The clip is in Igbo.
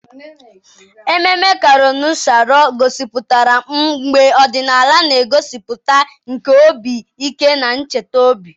Ememme Kanuri Sharo gosipụtara mgba ọdịnala na ngosipụta nke obi ike na ntachi obi.